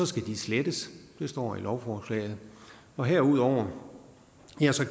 skal de slettes det står i lovforslaget herudover